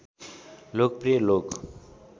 लोकप्रिय लोक